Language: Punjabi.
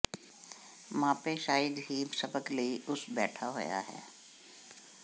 ਮਾਪੇ ਸ਼ਾਇਦ ਹੀ ਸਬਕ ਲਈ ਉਸ ਬੈਠਾ ਹੋਇਆ ਹੈ